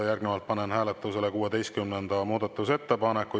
Järgnevalt panen hääletusele 16. muudatusettepaneku.